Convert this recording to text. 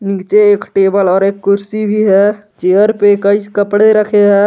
नीचे एक टेबल और एक कुर्सी भी है चेयर पे कई कपड़े रखे हैं।